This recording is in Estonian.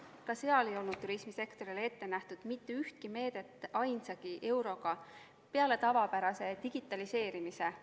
Ka seal ei olnud turismisektorile ette nähtud mitte ühtegi meedet ainsagi euroga peale tavapärase digitaliseerimise.